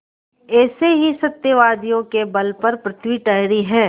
ऐसे ही सत्यवादियों के बल पर पृथ्वी ठहरी है